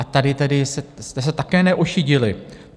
A tady tedy jste se také neošidili.